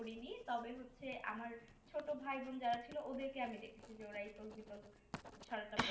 পড়িনি তবে হচ্ছে আমার ছোটো ভাই বোন যারা ছিল ওদেরকে আমি দেখেছি যেওরা ইতল বিতল ছড়াটা পড়ছে